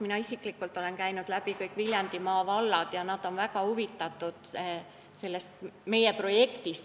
Mina isiklikult olen käinud läbi kõik Viljandimaa vallad ja nad on meie projektist väga huvitatud.